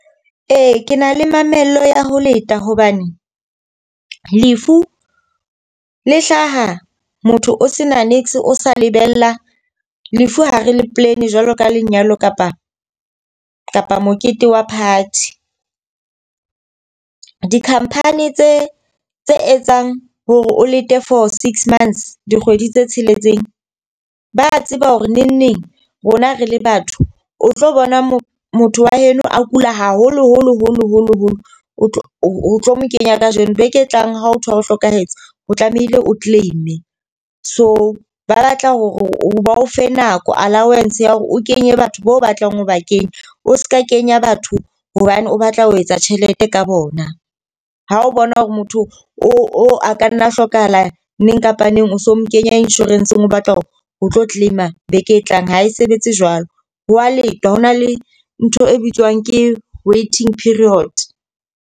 Ee, ke na le mamello ya ho leta hobane lefu le hlaha motho o se na , o sa lebella. Lefu ha re le plan jwalo ka lenyalo kapa kapa mokete wa party. Di-company tse tse etsang hore o lete for six months dikgwedi tse tsheletseng. Ba tseba hore nengneng rona rele batho o tlo bona mo motho wa heno a kula haholo holo holo holo holo o tlo o tlo kenya ka jeno beke e tlang ha o thola o hlokahetse, o tlamehile o claim-e. So ba batla hore o ba o fe nako allowances ya hore o kenye batho bao batlang ho ba kenya. O seka kenya batho hobane o batla ho etsa tjhelete ka bona ha o bona hore motho o a ka nna a hlokahala neng kapa neng o so mo kenya insurance-ng o batla ho tlo claim-a beke e tlang ha e sebetse jwalo ho wa lengwa hona le ntho e bitswang ke waiting period.